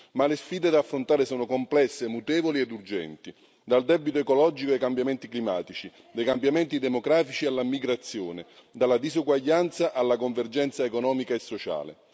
Ma le sfide da affrontare sono complesse, mutevoli ed urgenti dal debito ecologico ai cambiamenti climatici, dai cambiamenti democratici alla migrazione, dalla disuguaglianza alla convergenza economica e sociale.